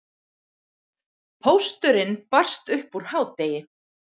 Pósturinn barst upp úr hádegi.